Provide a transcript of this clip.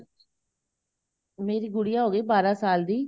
ਮੇਰੀ ਗੁਡੀਆ ਹੋ ਗਈ ਬਾਰਾਂ ਸਾਲ ਦੀ